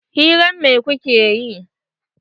Hirar me kuke yi?